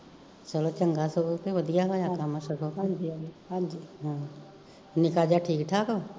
ਚਲੋ ਚੰਗਾ ਸਗੋਂ ਕਿ ਵਧੀਆ ਹੋਇਆ ਕੰਮ ਸਗੋ ਨਿਕਾ ਜਾ ਠੀਕ ਠਾਕ